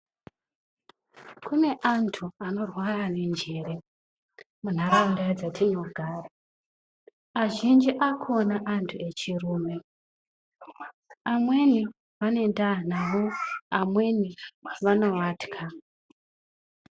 Kune antu anorwara nenjere mundaraunda dzatinogara, azhinji akona antu echirume, amweni vane ndaa navo, amweni vanovatya .